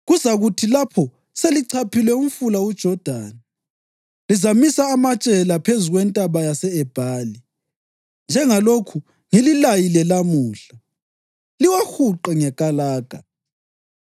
Kuzakuthi lapho selichaphile umfula uJodani, lizamisa amatshe la phezu kweNtaba yase-Ebhali, njengalokhu ngililayile lamuhla, liwahuqe ngekalaga.